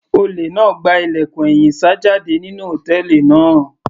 Olè náà gba ilẹ̀kùn ẹ̀yìn sá jáde nínú hòtẹ́ẹ̀lì náà.